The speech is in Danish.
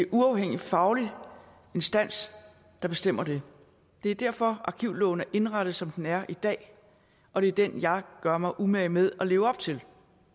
uafhængig faglig instans der bestemmer det det er derfor at arkivloven er indrettet som den er i dag og det er den jeg gør mig umage med at leve op til